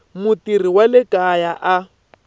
mutirhi wa le kaya a